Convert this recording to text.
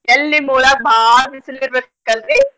ಎಲ್ಲ್ ನಿಮ್ಮ್ ಊರಾಗ್ ಬಾಳ್ ಬಿಸ್ಲ್ ಇರ್ಬೇಕಲ್ರಿ.